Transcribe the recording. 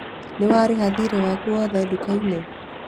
Nĩ warĩha thiirĩ waku wothe nduka-inĩ?